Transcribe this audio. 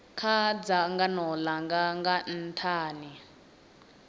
kha dzangano langa nga nthani